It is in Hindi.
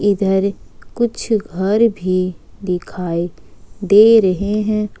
इधर कुछ घर भी दिखाई दे रहे हैं।